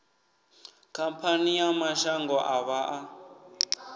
khamphani ya mashango ḓavha a